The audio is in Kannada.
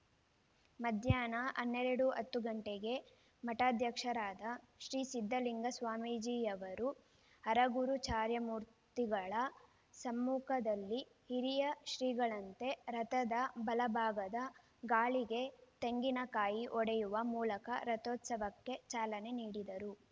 ಮಧ್ಯಾಹ್ನ ಹನ್ನೆರಡು ಹತ್ತು ಗಂಟೆಗೆ ಮಠಾಧ್ಯಕ್ಷರಾದ ಶ್ರೀ ಸಿದ್ದಲಿಂಗ ಸ್ವಾಮೀಜಿಯವರು ಹರಗುರುಚರಮೂರ್ತಿಗಳ ಸಮ್ಮುಖದಲ್ಲಿ ಹಿರಿಯ ಶ್ರೀಗಳಂತೆ ರಥದ ಬಲಭಾಗದ ಗಾಲಿಗೆ ತೆಂಗಿನಕಾಯಿ ಒಡೆಯುವ ಮೂಲಕ ರಥೋತ್ಸವಕ್ಕೆ ಚಾಲನೆ ನೀಡಿದರು